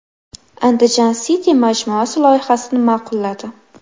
Andijan City majmuasi loyihasini ma’qulladi .